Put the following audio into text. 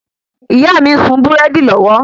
ìyá mi ń sun búrẹ́dì lọ́wọ́